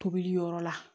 Tobili yɔrɔ la